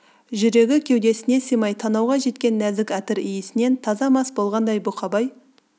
жүрегі кеудесіне сыймай танауға жеткен нәзік әтір иісінен таза мас болғандай бұқабай